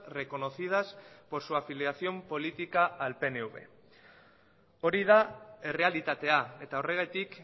reconocidas por su afiliación política al pnv hori da errealitatea eta horregatik